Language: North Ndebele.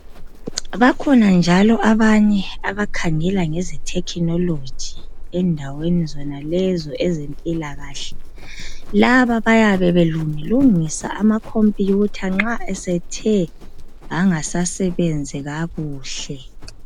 bakhona njalo abanye abakhangela ngeze technology endaweni zonalezo ezempilakahle laba bayabe belungilungisa ama computer nxa esethe angasasebenzi kakuhle